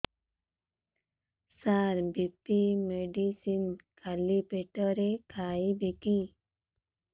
ସାର BP medicine ଖାଲି ପେଟରେ ଖାଇବି କି